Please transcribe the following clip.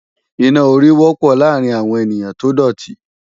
Iná orí wọ́pọ̀ láàárín àwọn ènìyàn tó dòtí